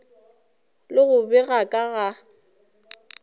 le go bega ka ga